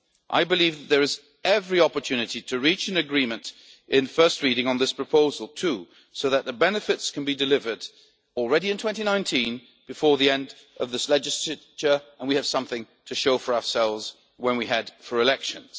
I believe that there is every opportunity to reach an agreement at first reading on this proposal too, so that the benefits can be delivered already in 2019, before the end of this legislature, and we have something to show for ourselves when we head for elections.